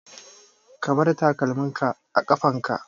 Ka bar takalmin ka a ƙafan ka!